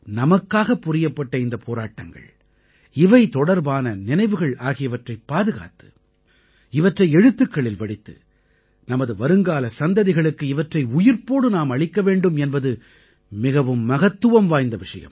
நமக்காகப் புரியப்பட்ட இந்தப் போராட்டங்கள் இவை தொடர்பான நினைவுகள் ஆகியவற்றைப் பாதுகாத்து இவற்றை எழுத்துக்களில் வடித்து நமது வருங்கால சந்ததிகளுக்கு இவற்றை உயிர்ப்போடு நாம் அளிக்க வேண்டும் என்பது மிகவும் மகத்துவம் வாய்ந்த விஷயம்